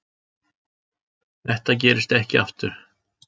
Þetta gerist ekki aftur.